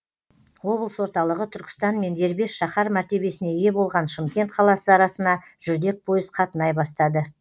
облыс орталығы түркістан мен дербес шаһар мәртебесіне ие болған шымкент қаласы арасына жүрдек пойыз қатынай бастады